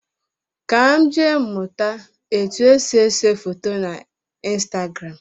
Ka m jee mụta etu esi ese foto na Instagram